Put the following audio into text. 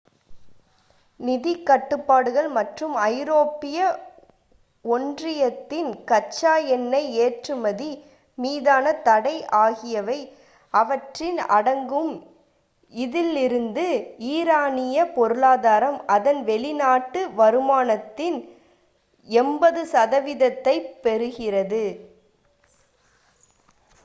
நிதிக் கட்டுப்பாடுகள் மற்றும் ஐரோப்பிய ஒன்றியத்தின் கச்சா எண்ணெய் ஏற்றுமதி மீதான தடை ஆகியவை அவற்றில் அடங்கும் இதில் இருந்து ஈரானிய பொருளாதாரம் அதன் வெளிநாட்டு வருமானத்தில் 80% ஐப் பெறுகிறது